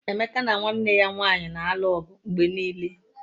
Emeka na nwanne ya nwanyị na-alụ ọgụ mgbe niile